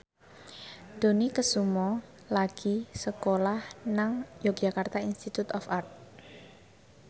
Dony Kesuma lagi sekolah nang Yogyakarta Institute of Art